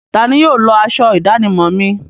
Tani yóò lọ aṣọ ìdánimọ̀ mi?